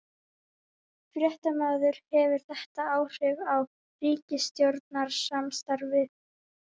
Fréttamaður: Hefur þetta áhrif á ríkisstjórnarsamstarfið?